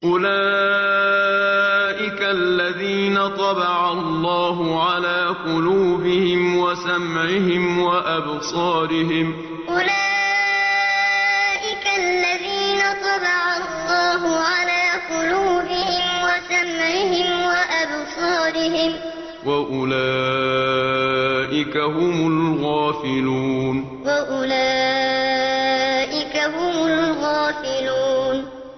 أُولَٰئِكَ الَّذِينَ طَبَعَ اللَّهُ عَلَىٰ قُلُوبِهِمْ وَسَمْعِهِمْ وَأَبْصَارِهِمْ ۖ وَأُولَٰئِكَ هُمُ الْغَافِلُونَ أُولَٰئِكَ الَّذِينَ طَبَعَ اللَّهُ عَلَىٰ قُلُوبِهِمْ وَسَمْعِهِمْ وَأَبْصَارِهِمْ ۖ وَأُولَٰئِكَ هُمُ الْغَافِلُونَ